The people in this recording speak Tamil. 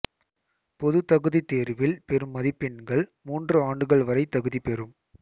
பொதுத் தகுதித் தேர்வில் பெறும் மதிப்பெண்கள் மூன்று ஆண்டுகள் வரை தகுதி பெறும்